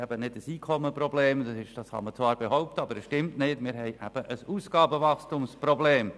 Wir haben nicht ein Einkommensproblem, wie oft behauptet wird, sondern ein Ausgabenwachstumsproblem.